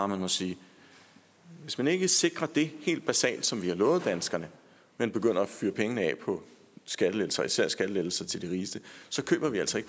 må sige at hvis man ikke sikrer det helt basale som man har lovet danskerne men begynder at fyre pengene af på skattelettelser især skattelettelser til de rigeste så køber vi altså